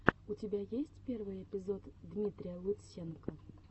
у тебя есть первый эпизод дмитрия лутсенко